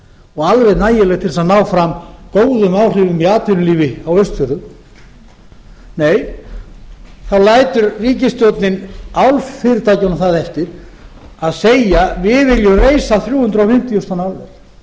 og alveg nægileg til að ná fram góðum áhrifum í atvinnulífi á austfjörðum nei þá lætur ríkisstjórnin álfyrirtækjunum það eftir að segja við viljum reisa þrjú hundruð fimmtíu þúsund tonna álver hver er munurinn